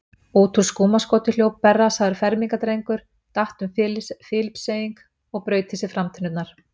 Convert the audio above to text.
Út úr skúmaskoti hljóp berrassaður fermingardrengur, datt um Filippseying og braut í sér framtennurnar.